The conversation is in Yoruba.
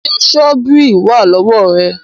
Ṣé Ṣọ́bíìrì wà lọ́wọ́ ẹ̀?